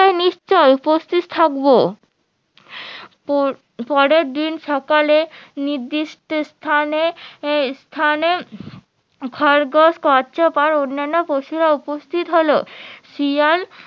নিশ্চই উপস্থিত থাকবো পরের দিন সকালে নিদৃষ্ট স্থানে স্থানে খরগোশ কচ্ছপ আর অন্যান্য পশুরা উপস্থিত হলো শিয়াল